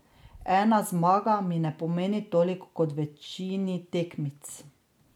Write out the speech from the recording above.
Ena zmaga mi ne pomeni toliko kot večini tekmic.